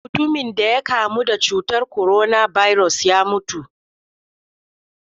Mutumin da ya kamu da cutar korona birus ya mutu.